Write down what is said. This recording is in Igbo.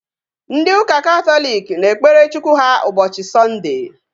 Ndị ụka Katọlik na-ekpere Chukwu ha ụbọchị Sọnde